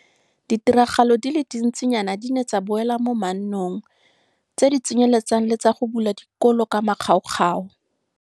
Ditiragalo di le dintsinyana di ne tsa boela mannong, tse di tsenyeletsang le tsa go bula dikolo ka makgaokgao.